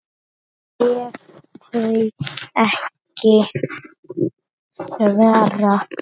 ef þau ekki svara